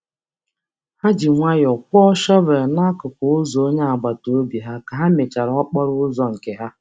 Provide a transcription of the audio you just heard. Ha um jiri nwayọọ kpochara um ụzọ agbata obi ha mgbe ha ha kpochara nke ha.